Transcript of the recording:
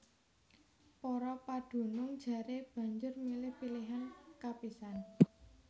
Para padunung jaré banjur milih pilihan kapisan